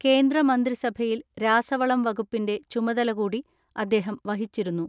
കേന്ദ്രമന്ത്രിസഭയിൽ രാസവളം വകുപ്പിന്റെ ചുമതല കൂടി അദ്ദേഹം വഹിച്ചിരുന്നു.